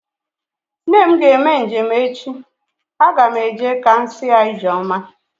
Nne m ga-eme njem echi. Aga m eje ka m si ya ijeoma